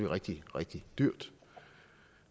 rigtig rigtig dyrt